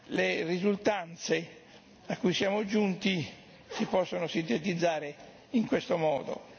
Le risultanze a cui siamo giunti si possono sintetizzare in questo modo.